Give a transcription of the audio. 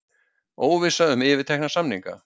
Óvissa um yfirtekna samninga